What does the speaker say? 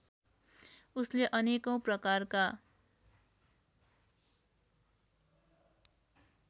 उसले अनेकौँ प्रकारका